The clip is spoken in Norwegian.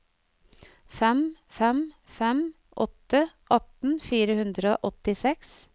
fem fem fem åtte atten fire hundre og åttiseks